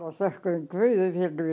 þökkuðum guði